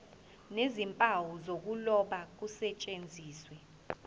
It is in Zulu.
nezimpawu zokuloba kusetshenziswe